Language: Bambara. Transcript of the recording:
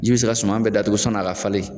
Ji be se ka suma bɛ datugu sɔn'a ka falen